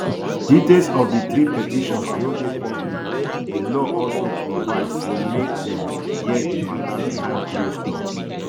details of di three petitions no dey public di law also provide say make dem hear di mata behind closed doors